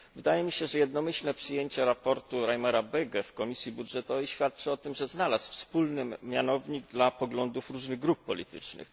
Wydaje mi się, że jednomyślne przyjęcie sprawozdania Reimera Bögego w Komisji Budżetowej świadczy o tym, że znalazł wspólny mianownik dla poglądów różnych grup politycznych.